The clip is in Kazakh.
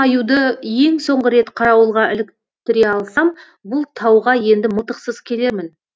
аюды ең соңғы рет қарауылға іліктіре алсам бұл тауға енді мылтықсыз келермін